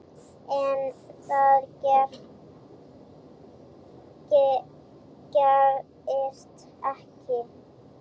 En það gerist ekki.